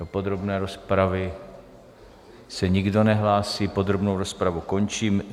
Do podrobné rozpravy se nikdo nehlásí, podrobnou rozpravu končím.